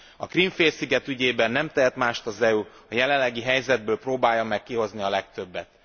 A Krím félsziget ügyében nem tehet mást az EU, mint a jelenlegi helyzetből próbálja meg kihozni a legtöbbet.